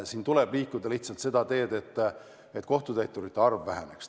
Siin tuleb lihtsalt minna seda teed, et kohtutäiturite arv väheneks.